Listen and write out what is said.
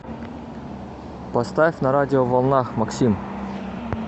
поставь на радиоволнах максим